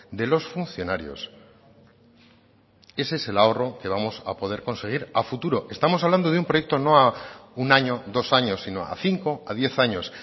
de los funcionarios ese es el ahorro que vamos a poder conseguir a futuro estamos hablando de un proyecto no a un año dos años sino a cinco a diez años